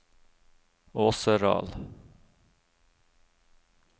Åseral